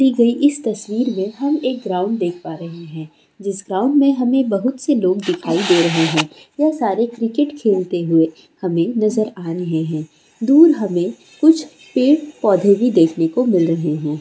दी गई इस तस्वीर मे हम एक ग्राउंड देख प रहे है जिस ग्राउंड मे हमे बहुत से लोग दिखाई दे रहे है यह सारे क्रिकेट खेलते हुए हमे नजर आ रहे है दूर हमे कुछ पेड़ पौधे भी देखने को मिल रहे है ।